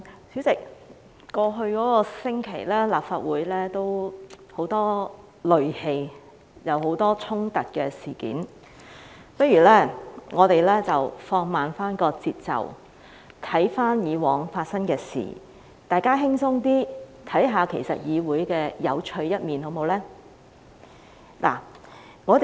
主席，在過去一星期，立法會充滿戾氣，發生了很多衝突事件，不如我們放慢節奏，回看以往發生的事，大家輕鬆一點，看看議會有趣的一面，好嗎？